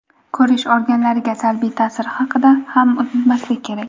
ko‘rish organlariga salbiy ta’siri haqida ham unutmaslik kerak.